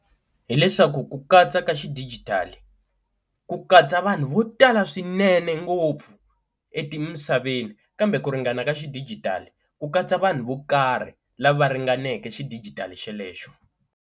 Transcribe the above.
Hi leswaku ku katsa ka xidijitali ku katsa vanhu vo tala swinene ngopfu emisaveni kambe ku ringana ka xidijitali ku katsa vanhu vo karhi lava ringaneke xidijitali xelexo.